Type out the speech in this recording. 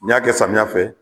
N'i y'a kɛ samiya fɛ